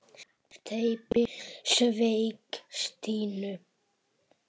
Stebbi sveik Stínu.